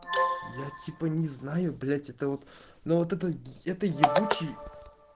я типа не знаю блять это вот ну вот это это ебучий